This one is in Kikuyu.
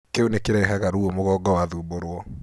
Kĩu nĩ kĩrehaga ruo mũgongo wathumbũrwo.